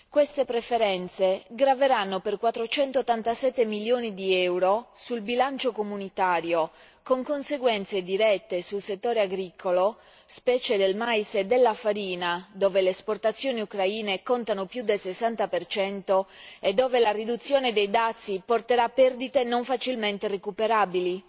Queste preferenze graveranno per 487 milioni di euro sul bilancio comunitario, con conseguenze dirette sul settore agricolo, specie del mais e della farina, dove le esportazioni ucraine contano più del 60 e dove la riduzione dei dazi porterà perdite non facilmente recuperabili.